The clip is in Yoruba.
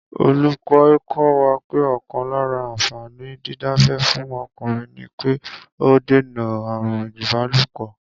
Olúko̩ kó̩ wa pé ò̩kan lára àǹfàní dídábẹ́ fún o̩kùnrin ni pé ó ń dènà àrùn ìbálòpò̩